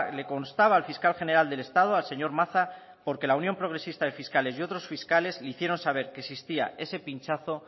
le constaba al fiscal general del estado al señor maza porque la unión progresista de fiscales y otros fiscales le hicieron saber que existía ese pinchazo